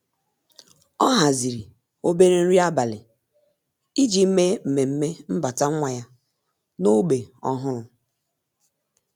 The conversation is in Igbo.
Ọ́ hàzị̀rị̀ obere nrí ábàlị̀ iji mèé mmemme mbata nwa ya n’ógbè ọ́hụ́rụ́.